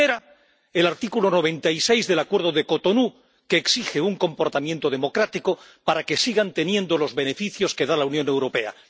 Primera, el artículo 96 del Acuerdo de Cotonú, que exige un comportamiento democrático para que sigan teniendo los beneficios que da la Unión Europea.